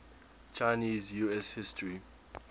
chinese us history